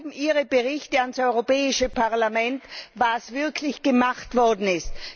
Wo bleiben Ihre Berichte an das Europäische Parlament darüber, was wirklich gemacht worden ist?